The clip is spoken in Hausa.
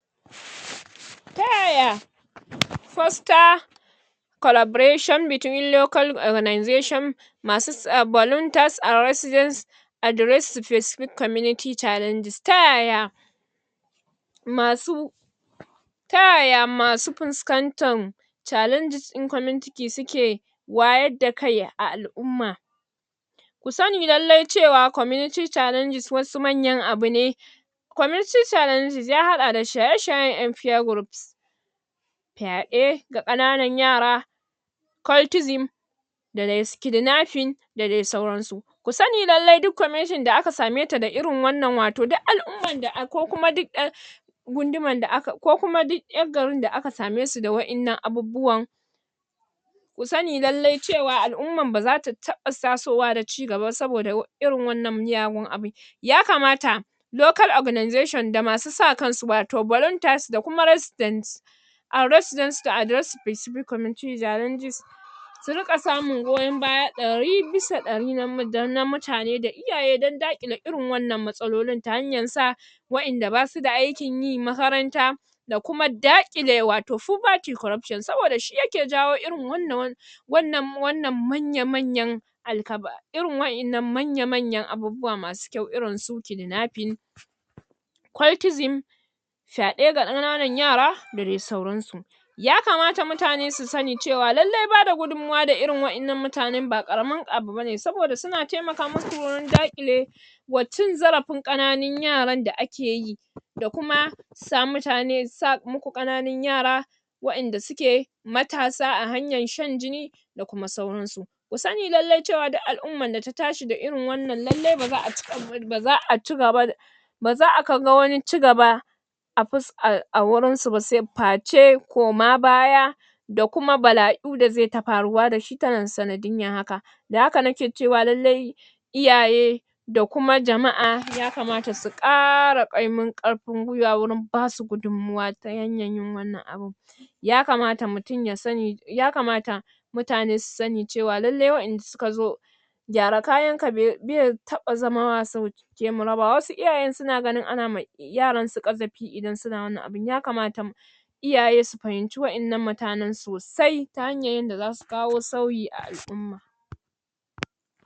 ta yaya fosta collaboration between local organisation masu volunters and residence address specific community challenges, ta yaya? masu ta yaya masu fuskantan challenges ɗin community suke wayar da kai a al'umma ku sani lallai cewa community challenges wasu mayan abu ne community challenges ya haɗa da shaye-shayen ƴan peer groups fyaɗe ga ƙananan yara cultism da dai kidnapping da dai sauransu ku sani lallai duk kwameshan da aka same ta da irin wannan wato duk al'ummar da a'a ko kuma duk ƴan gundumar da aka ko kuma duk ƴar garin da aka same su da wa'inna abubuwan ku sani lallai cewa al'umman ba zata taɓa tasowa da cigaba ba saboda irin wannan miyagun abin yakamata local organisation da masu sa kansu wato volunteers da kuma resident and resident to address specific community challenges su riƙa samun goyon baya ɗari bisa ɗari na mutane da iyaye don daƙile irin waɗannan matsalolin ta hanyar sa wa'inda basu da aikin yi makaranta da kuma daƙile wato poverty corruption saboda shi yake jawo irin wannan wannan wannan manya-manyan alkaba irin wa'innan manya-manyan abubuwa masu kyau irin su kidnapping cultism fyaɗe ga ƙananan yara da dai sauransu yakamata mutane su sani cewa lallai bada gudummawa da irin wa'innan mutanen ba ƙaramin abu ba ne sabonda suna taimaka musu wurin daƙile wa cin zarafin ƙananun yaran da ake yi da kuma sa mutane, sa muku ƙananun yara wa; inda suke matasa a hanyan shan jini da kuma sauransu ku sani lallai cewa duk al'umman da ta tashi da irin wannan lallai ba za a cika buri, ba za a cigaba ba za a ga wani cigaba a fuska a wurinsu ba sai face koma baya da kuma bala'u da zai ta faruwa da shi ta nan sanadin rashin haka da haka nake cewa lallai iyaye da kuma jama'a yakamata su ƙara ƙaimin ƙwarfin gwiwa wurin basu gudummawa ta hanyar yin wannan abin yakamata mutum ya sani, yakamata mutane su sani cewa lallai wa'inda suka zo gyara kayan bai be taɓa zama sauke mu raba wasu iyayen suna ganin ana ma yaransu ƙazafi idan suna wannan abin yakamata iyaye su fahimci wa'innan mutanen sosai ta hanyar yadda zasu kawo sauyi a al'umma